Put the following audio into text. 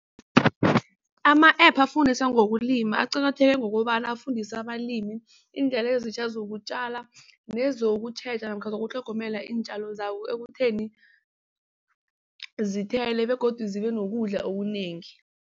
Ama-App afundisa ngokulima aqakatheke ngokobana afundisa abalimi iindlela ezitjha zokutjala nezokutjheja namkha nokutlhogomela iintjalo zabo ekutheni zithele begodu zibe nokudla okunengi.